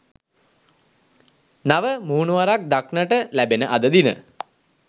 නව මුහුණුවරක් දක්නට ලැබෙන අද දින